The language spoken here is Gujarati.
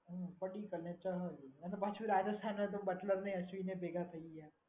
અને પછી રાજસ્થાનને બટલરને ને ભેગા થઈ ગયા.